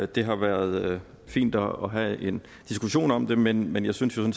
det har været fint at have en diskussion om det men men jeg synes jo